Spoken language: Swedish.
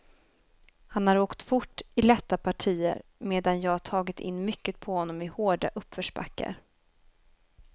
Han har åkt fort i lätta partier, medan jag tagit in mycket på honom i hårda uppförsbackar.